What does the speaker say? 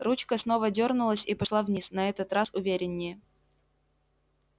ручка снова дёрнулась и пошла вниз на этот раз увереннее